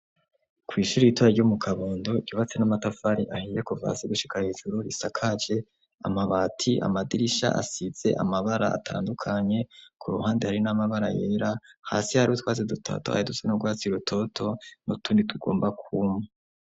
Kw'ishura ritoyi ryo mu kabondo rubatse n'amatafari ahinje kuvasi gushikara ijuru risakaje amabati amadirisha asize amabara atandukanye ku ruhande hari n'amabara yera, hasi hari utwazi dutato aya duse no rwatsiye urutoto n'utundi tugomba kwuma.